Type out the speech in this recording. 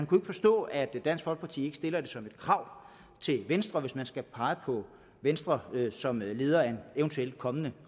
kunne forstå at dansk folkeparti ikke stiller det som et krav til venstre hvis man skal pege på venstre som leder af en eventuelt kommende